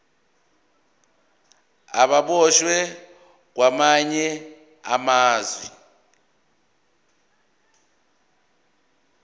ababoshwe kwamanye amazwe